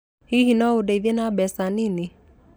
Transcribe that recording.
Hihi no ũndeithie na mbeca nini?